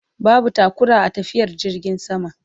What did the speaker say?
Babu taƙura a tafiyar jirgin sama